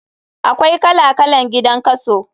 Akwai kala kalan gidan kaso.